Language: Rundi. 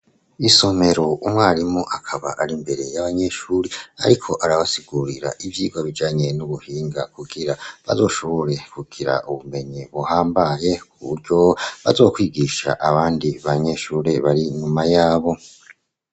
Isomero umwarimu akaba ari imbere y'abanyeshure ariko arabasigurira ivyigwa bijanye n'ubuhinga kugira bazoshobore kugira ubumenyi buhambaye kuburyo bazokwigisha abandi banyeshure bari nyuma yabo.